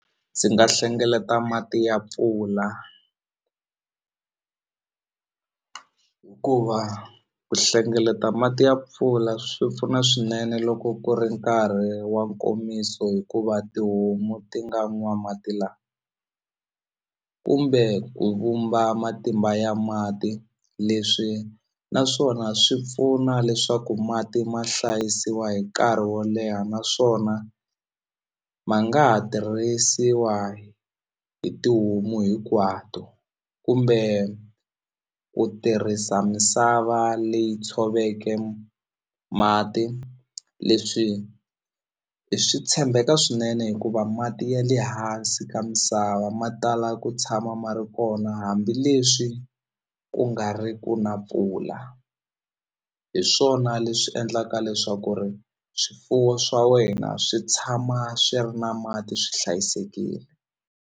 Ndzi nga hlengeleta mati ya mpfula hikuva ku hlengeleta mati ya mpfula swi pfuna swinene loko ku ri nkarhi wa nkomiso hikuva tihomu ti nga n'wa mati lama kumbe ku vumba matimba ya mati leswi naswona swi pfuna leswaku mati ma hlayisiwa hi nkarhi wo leha naswona ma nga ha tirhisiwa hi tihomu hinkwato kumbe ku tirhisa misava leyi tshoveke mati leswi hi swi tshembeka swinene hikuva mati ya le hansi ka misava ma tala ku tshama ma ri kona hambileswi ku nga ri ku na mpfula hi swona leswi endlaka leswaku ri swifuwo swa wena swi tshama swi ri na mati swi hlayisekile.